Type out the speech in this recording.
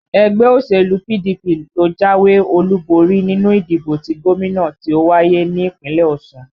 Ẹgbẹ́ òṣèlú PDP ló jáwé olúborí nínú ìdìbò ti gómìnà tí ó wáyé ní Ìpínlẹ̀ Ọ̀ṣun